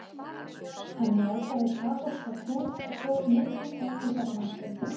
Hann játaði kaþólska trú og tók mikinn þátt í safnaðarstarfi.